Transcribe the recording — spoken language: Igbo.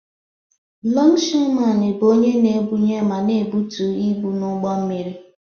Longshoreman bụ onye na-ebunye ma na-ebutu ibu n'ụgbọ mmiri.